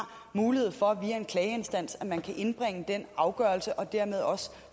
mulighed for via en klageinstans at indbringe afgørelsen og dermed også